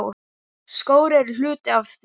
Skór eru hluti af því.